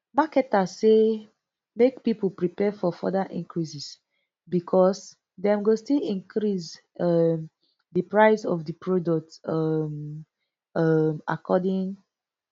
marketers say make pipo prepare for further increases becos dem go still increase um di price of di products um um accordingly